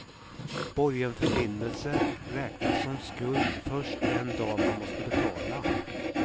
Borgenförbindelser räknas som skuld först den dag man måste betala.